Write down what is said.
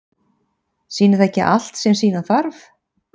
Sýnir það ekki allt sem sýna þarf?